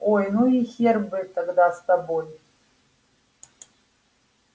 ой ну и хер бы тогда с тобой